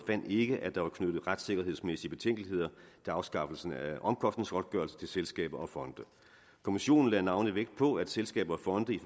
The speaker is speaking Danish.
ikke at der var knyttet retssikkerhedsmæssige betænkeligheder til afskaffelsen af omkostningsgodtgørelsen til selskaber og fonde kommissionen lagde navnlig vægt på at selskaber og fonde i